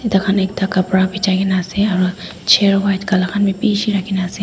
taikhan ekta khapra bijaigena ase aro chair white color khan bi bishi rakhigena ase.